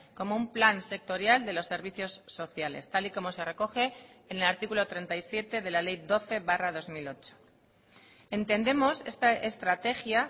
como un plan sectorial de los servicios sociales tal y como se recoge en el artículo treinta y siete de la ley doce barra dos mil ocho entendemos esta estrategia